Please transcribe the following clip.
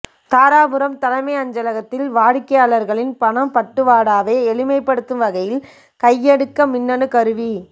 தாராபுரம் தலைமை அஞ்சகலத்தில் வாடிக்கையாளர்களின் பணப் பட்டுவாடாவை எளிமைப்படுத்தும் வகையில் கையடக்க மின்னணுக் கருவி